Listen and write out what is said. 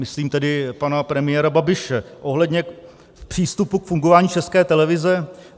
Myslím tedy pana premiéra Babiše ohledně přístupu k fungování České televize.